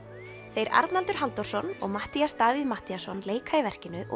þeir Arnaldur Halldórsson og Matthías Davíð Matthíasson leika í verkinu og